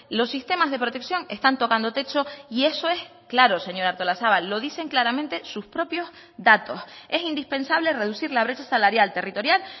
los sistemas de protección están tocando techo y eso es claro señora artolazabal lo dicen claramente sus propios datos es indispensable reducir la brecha salarial territorial